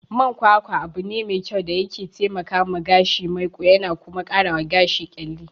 Man kwakwa abune me kyau da yake taikawa gashi maiƙo yana kuma karawa gashi ƙyalli.